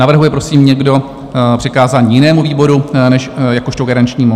Navrhuje prosím někdo přikázání jinému výboru než jakožto garančnímu?